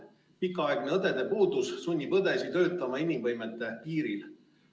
Pikaaegne õdede puudus sunnib õdesid töötama inimvõimete piiril.